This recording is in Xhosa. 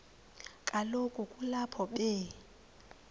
kaloku kulapho be